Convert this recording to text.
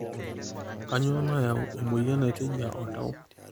kanyioo nayau emoyian naitejia oltau?